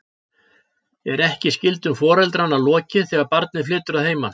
Er ekki skyldum foreldranna lokið þegar barnið flytur að heiman?